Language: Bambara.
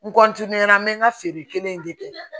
N na n bɛ n ka feere kelen in de kɛ